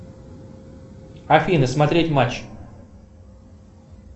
афина смотреть матч